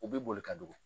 U bɛ boli ka don